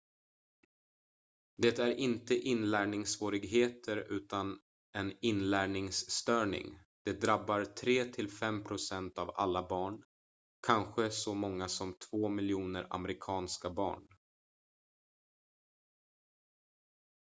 "det är inte inlärningssvårigheter utan en inlärningsstörning; det "drabbar 3 till 5 procent av alla barn kanske så många som 2 miljoner amerikanska barn"".